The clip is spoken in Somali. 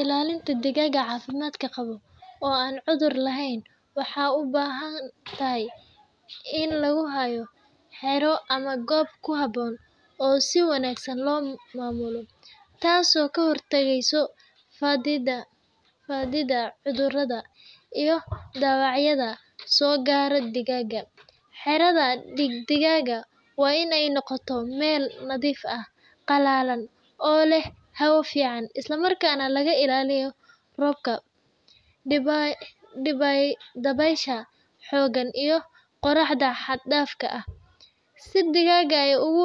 Ilaalinta digaaga cafimaad qabo oo aan cudur laheyn waxaay ubahan tahay in lagu haayo xero ama goob ku haboon oo si wanagsan loo maamuli, taas oo kahor tageyso fadida cudurada iyo daawacyo soo gaara digaaga, xeerada digaaga waa inaay noqoto meel nadiif ah qalalan oo leh hawo fican isla markaas na laga ilaaliyo roobka, dabeesha xoogan iyo qoraxda xad daafa ah, si digaaga aay ugu